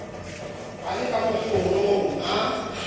a le ka mokgorong a